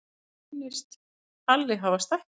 Honum sýndist Halli hafa stækkað.